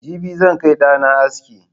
Jibi zan kai da'na aski.